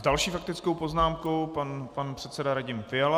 S další faktickou poznámkou pan předseda Radim Fiala.